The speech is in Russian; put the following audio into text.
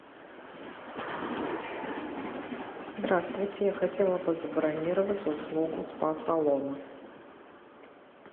здравствуйте я хотела бы забронировать услугу спа салона